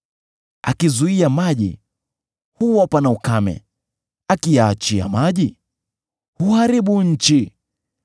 Akizuia maji, huwa pana ukame; akiyaachia maji, huharibu nchi.